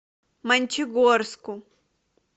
мончегорску